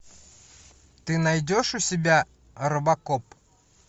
ты найдешь у себя робокоп